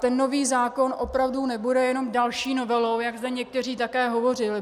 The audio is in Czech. Ten nový zákon opravdu nebude jenom další novelou, jak zde někteří také hovořili.